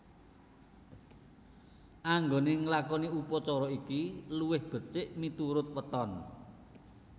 Anggone nglakoni upacara iki luwih becik miturut weton